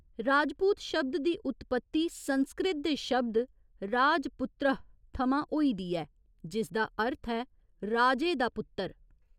'राजपूत' शब्द दी उत्पत्ति संस्कृत दे शब्द 'राजपुत्रः' थमां होई दी ऐ जिसदा अर्थ ऐ 'राजे दा पुत्तर'।